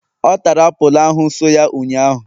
ọ tara apulu ahu so ya ụnyaahụ?